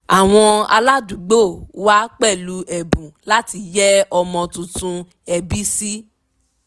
àwọn aládùúgbò wa pẹ̀lú ẹ̀bùn láti yẹ ọmọ tuntun ẹbí sí